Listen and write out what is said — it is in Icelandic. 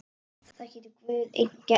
Það getur Guð einn gert.